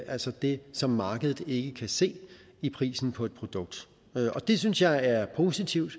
altså det som markedet ikke kan se i prisen på et produkt det synes jeg er positivt